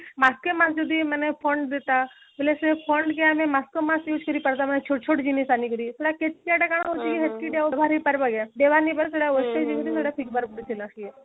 use କରି କରିଦବା ଛୋଟଛୋଟ ଜିନିଷ